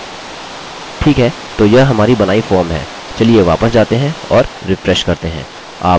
ठीक है तो यह हमारी बनाई फॉर्म है चलिए वापस जाते हैं और रिफ्रेश करते हैं